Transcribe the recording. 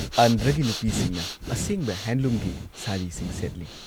ꯑꯟꯙ꯭ꯔꯒꯤ ꯅꯨꯄꯤꯁꯤꯡꯅ ꯑꯁꯦꯡꯕ ꯍꯦꯟꯗꯂꯨꯝꯒꯤ ꯁꯥꯔꯤꯁꯤꯡ ꯁꯦꯠꯂꯤ꯫